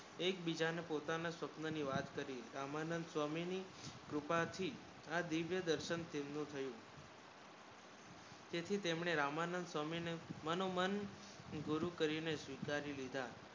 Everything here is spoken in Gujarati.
એક બીજા ને પોતા ને સ્વપ્ન ની વાત કરી રામાનંદ સ્વામી ની કૃપા થી આ દિવ્ય દર્શન તેમનુ થયુ તેથી તેમને રામાનંદ સ્વામી ને મનુ મન ગુરુ કરીને સ્વિકારી લિધા